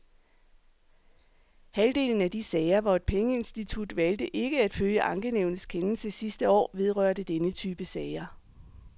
Halvdelen af de sager, hvor et pengeinstitut valgte ikke at følge ankenævnets kendelse sidste år, vedrørte denne type sager.